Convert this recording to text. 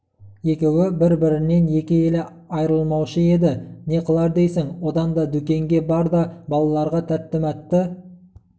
екеуі бір-бірінен екі елі айрылмаушы еді не қылар дейсің одан да дүкенге бар да балаларға тәтті-мәтті